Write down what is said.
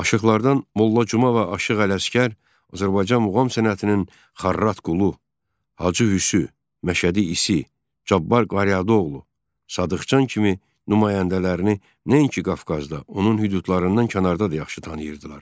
Aşıqlardan Molla Cümə və Aşıq Ələsgər Azərbaycan muğam sənətinin Xarrat Qulu, Hacı Hüsü, Məşədi İsi, Cabbar Qaryağdıoğlu, Sadıqcan kimi nümayəndələrini nəinki Qafqazda, onun hüdudlarından kənarda da yaxşı tanıyırdılar.